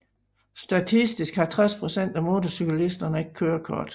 Statistisk har 60 procent af motorcyklisterne ikke kørekort